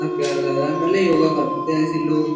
प्यारा लग रहा है पहले योगा करते थे ऐसे ही लोग।